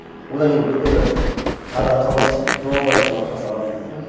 одан кейін бір күні тағы да хабарласып жоба бар десем ақшасы аз дейді де